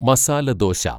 masala dosa